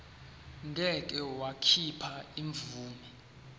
ngeke wakhipha imvume